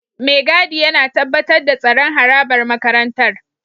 Mai gadi yana tabbatar da tsaron harabar makarantar